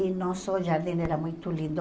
E nosso jardim era muito lindo.